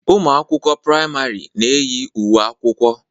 Ụmụ akwụkwọ prìamari na-eyi uwe akwụkwọ.